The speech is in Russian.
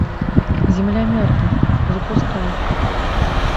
земля мертвых запускай